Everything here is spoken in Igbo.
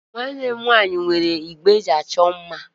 Nwanne m nwaanyị nwere igbe eji achọ mma.